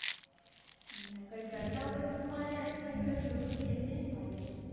હમ કાંઈ કરતા હોય તો આજુબાજુવાળા લોકો કે એમનામ મરેલા